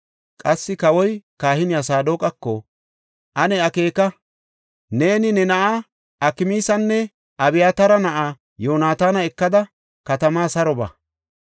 Qassi kawoy kahiniya Saadoqako, ane akeeka “Neeni ne na7aa Akmaasanne Abyataara na7aa Yoonataana ekida katamaa saro ba.